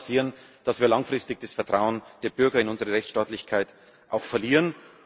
Sonst kann es passieren, dass wir langfristig das Vertrauen der Bürger in unsere Rechtsstaatlichkeit verlieren.